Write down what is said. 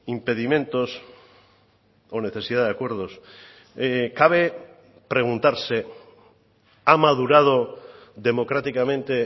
impedimentos o necesidad de acuerdos cabe preguntarse ha madurado democráticamente